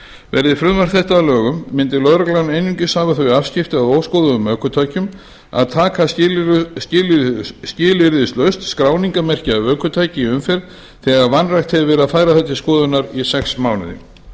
verði frumvarp þetta að lögum myndi lögreglan einungis hafa þau afskipti af óskoðuðum ökutækjum að taka skilyrðislaust skráningarmerki af ökutæki í umferð þegar vanrækt hefur verið að færa það til skoðunar í sex mánuði